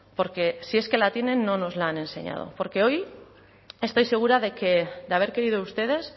porque si es que la tienen no nos la han enseñado porque hoy estoy segura de que de haber querido ustedes